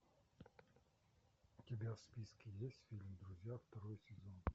у тебя в списке есть фильм друзья второй сезон